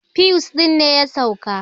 fiwus ɗin ne ya sauka